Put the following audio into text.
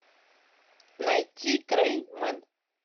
найти грей мен